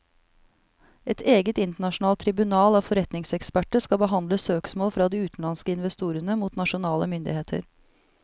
Et eget internasjonalt tribunal av forretningseksperter skal behandle søksmål fra de utenlandske investorene mot nasjonale myndigheter.